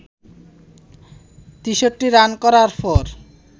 ৬৩ run করার পর